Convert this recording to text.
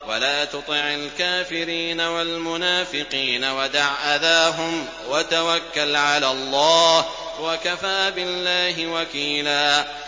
وَلَا تُطِعِ الْكَافِرِينَ وَالْمُنَافِقِينَ وَدَعْ أَذَاهُمْ وَتَوَكَّلْ عَلَى اللَّهِ ۚ وَكَفَىٰ بِاللَّهِ وَكِيلًا